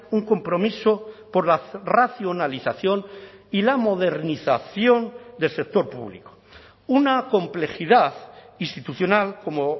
un compromiso por la racionalización y la modernización del sector público una complejidad institucional como